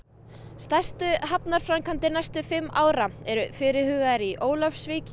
stærstu hafnarframkvæmdir næstu fimm ára eru fyrirhugaðar í Ólafsvík